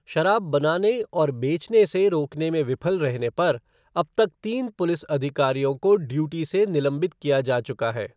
शराब बनाने और बेचने से रोकने में विफल रहने पर अब तक तीन पुलिस अधिकारियों को ड्यूटी से निलंबित किया जा चुका है।